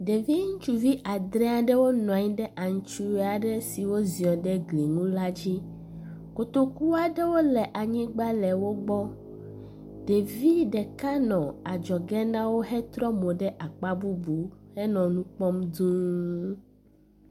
Ɖevi ŋutsuvi adre aɖewo nɔ anyi ɖe antrɔe aɖe si woziɔ ɖe gli nu la dzi. Kotoku aɖewo le anyigba le wo gbɔ. Ɖevi ɖeka nɔ adzɔge na wo hetrɔ mo ɖe akpa bubu henɔ nu kpɔm duu.